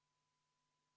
V a h e a e g